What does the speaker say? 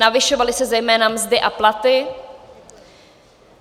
Navyšovaly se zejména mzdy a platy.